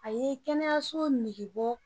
A ye kɛnɛyaso nege bɔ.